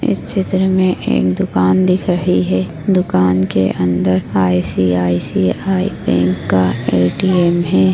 इस चित्र मे एक दुकान दिख रही है दुकान के अंदर आय.सी.आय.सी.आय बैंक का ए.टी.एम है।